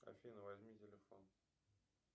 афина возьми телефон